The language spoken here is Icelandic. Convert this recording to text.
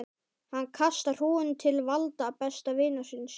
Hann kastar húfunni til Valda, besta vinarins.